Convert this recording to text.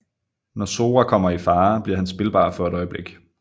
Når Sora kommer i farer bliver han spilbar for et øjeblik